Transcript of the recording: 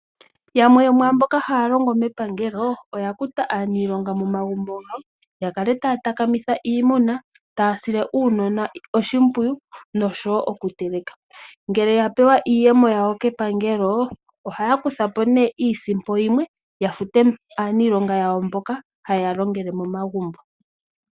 Yamwe mboka haya longo mepangelo oya kuta aaniilonga momagumbo gawo ya kale taya taka mitha iimuna, taya sile uunona oshimpwiyu noshowo oku teleka. Ngele ya pewa iiyemo yawo kepangelo ohaya kutha po nee iisimpo yimwe ya fute mboka haye ya longele momagumbo.